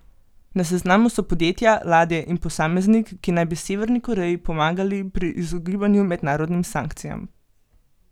Na seznamu so podjetja, ladje in posameznik, ki naj bi Severni Koreji pomagali pri izogibanju mednarodnim sankcijam.